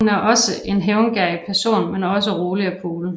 Hun er en hævngerrig person men også rolig og cool